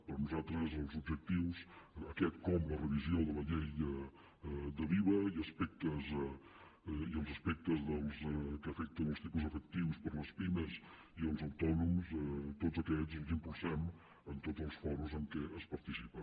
per nosaltres els objectius aquest com la revisió de la llei de l’iva i els aspectes que afecten els tipus efectius per a les pimes i els autònoms tots aquests els impulsem en tots els fòrums en què es participa